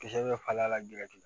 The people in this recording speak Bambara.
Kisɛ dɔ falen a la